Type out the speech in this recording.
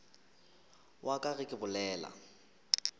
wa ka ge ke bolela